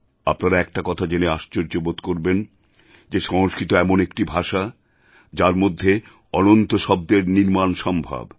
আপনারা একটা কথা জেনে আশ্চর্য বোধ করবেন যে সংস্কৃত এমন একটি ভাষা যার মধ্যে অনন্ত শব্দের নির্মাণ সম্ভব